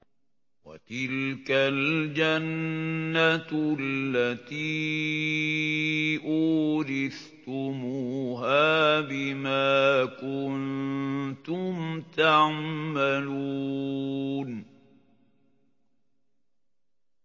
وَتِلْكَ الْجَنَّةُ الَّتِي أُورِثْتُمُوهَا بِمَا كُنتُمْ تَعْمَلُونَ